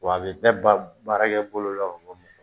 Wa a bɛ bɛɛ ba baarakɛ bolo lɔ ka bɔ